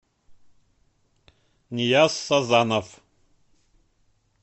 нияз сазанов